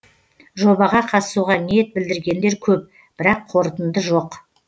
жобаға қатысуға ниет білдіргендер көп бірақ қорытынды жоқ